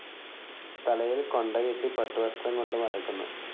തലയിൽ കൊണ്ടകെട്ടി പട്ടുവസ്ത്രം കൊണ്ട് മറയ്ക്കുന്നു.